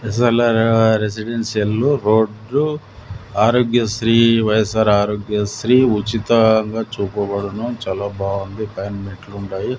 రెసిడెన్సియల్లు రోడ్లు ఆరోగ్య శ్రీ వై_యస్_ఆర్ ఆరోగ్య శ్రీ ఉచితంగా చూపబడును చాలా బాగుంది పైన మెట్లు ఉండాయి.